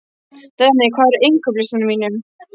Denni, hvað er á innkaupalistanum mínum?